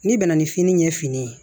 N'i bɛna ni fini ɲɛ fini ye